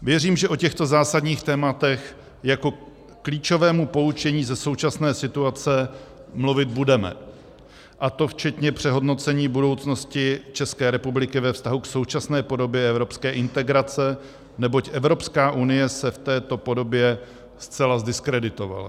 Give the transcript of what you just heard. Věřím, že o těchto zásadních tématech jako klíčovému poučení ze současné situace mluvit budeme, a to včetně přehodnocení budoucnosti České republiky ve vztahu k současné podobě evropské integrace, neboť Evropská unie se v této podobě zcela zdiskreditovala.